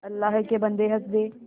अल्लाह के बन्दे हंस दे